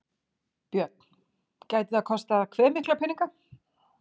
Björn: Gæti það kostað hve mikla peninga?